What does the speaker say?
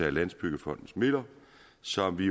af landsbyggefondens midler som vi